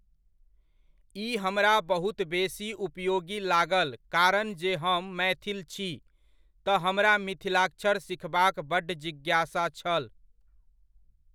ई हमरा बहुत बेसी उपयोगी लागल कारण जे हम मैथिल छी, तऽ हमरा मिथिलाक्षर सीखबाक बड्ड जिज्ञासा छल।